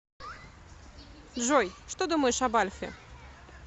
джой что думаешь об альфе